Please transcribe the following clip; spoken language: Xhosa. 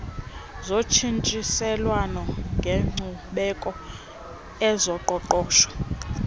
zotshintshiselwano ngenkcubeko ezoqoqosho